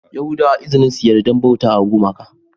Yahudawa izinin su yarda bautawa gumaka